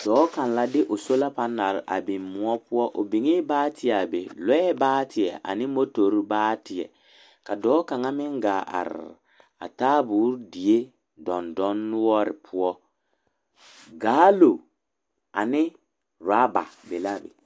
Dɔɔ kaŋ la de o sola pɛnel a biŋ kõɔ poɔ o biŋɛɛ baateɛ a be loɛ baateɛ ane motori baateɛ ka dɔɔ kaŋa meŋ gaa te are a taaboori dendɔnoɔre poɔ galoŋ ane ɔraba be la a be.